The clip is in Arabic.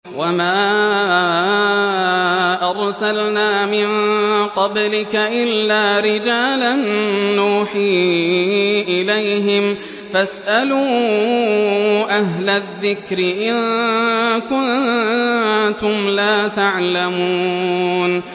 وَمَا أَرْسَلْنَا مِن قَبْلِكَ إِلَّا رِجَالًا نُّوحِي إِلَيْهِمْ ۚ فَاسْأَلُوا أَهْلَ الذِّكْرِ إِن كُنتُمْ لَا تَعْلَمُونَ